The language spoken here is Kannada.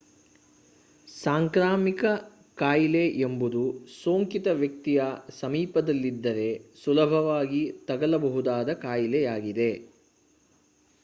ಸಾಂಕ್ರಾಮಿಕ ಕಾಯಿಲೆ ಎಂಬುದು ಸೋಂಕಿತ ವ್ಯಕ್ತಿಯ ಸಮೀಪದಲ್ಲಿದ್ದರೆ ಸುಲಭದಲ್ಲಿ ತಗಲಬಹುದಾದ ಕಾಯಿಲೆಯಾಗಿದೆ